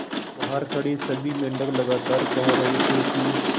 बहार खड़े सभी मेंढक लगातार कह रहे थे कि